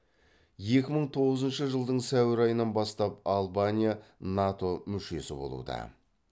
екі мың тоғызыншы жылдың сәуір айынан бастап албания нато мүшесі болуда